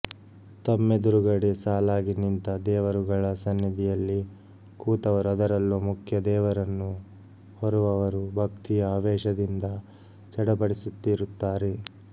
ತಮ್ಮೆದುರುಗಡೆ ಸಾಲಾಗಿ ನಿಂತ ದೇವರುಗಳ ಸನ್ನಿಧಿಯಲ್ಲಿ ಕೂತವರು ಅದರಲ್ಲೂ ಮುಖ್ಯ ದೇವರನ್ನು ಹೊರುವವರು ಭಕ್ತಿಯ ಆವೇಶದಿಂದ ಚಡಪಡಿಸುತ್ತಿರುತ್ತಾರೆ